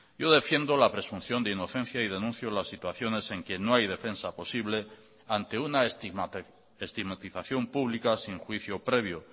yo defiendo la presunción de inocencia y denuncio las situaciones en que no hay defensa posible ante una estigmatización pública sin juicio previo